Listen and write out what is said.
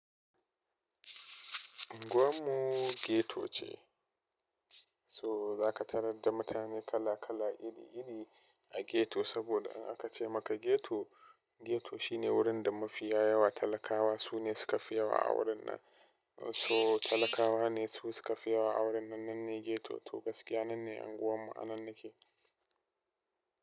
Anguwan mu ghetto ce, so za ka tarar da mutane kala kala iri iri a ghetto saboda in aka ce maka ghetto, ghetto shine wurin da mafiya yawa, talakawa su ne suka fi yawa a wurin nan. So talakawa ne su suka fi yawa a wurin nan. Nan ne ghetto, to gaskiya nan ne unguwan mu a nan yake.